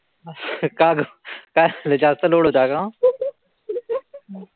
का ग? काय झालं जास्त load होता का?